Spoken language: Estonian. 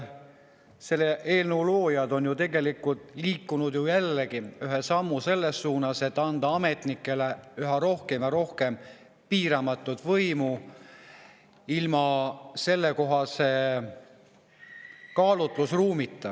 Selle eelnõu loojad on ju tegelikult liikunud jälle ühe sammu selles suunas, et anda ametnikele üha rohkem ja rohkem piiramatut võimu ilma sellekohase kaalutlusruumita.